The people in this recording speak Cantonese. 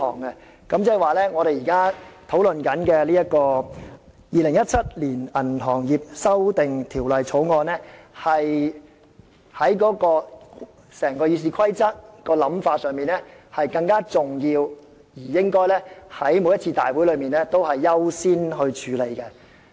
換言之，我們現在討論的《2017年銀行業條例草案》，按《議事規則》的排序是較重要的，在立法會會議中應優先處理。